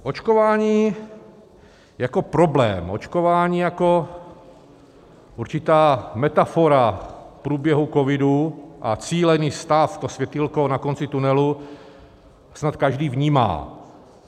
Očkování jako problém, očkování jako určitá metafora průběhu covidu a cílený stav, to světýlko na konci tunelu, snad každý vnímá.